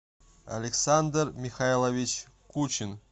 александр михайлович кучин